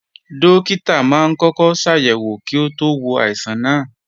Dókítà máa ń kọ́kọ́ ṣàyẹ̀wò kí ó tó wo àìsàn náà